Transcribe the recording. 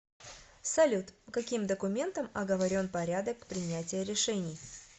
салют каким документом оговорен порядок принятия решений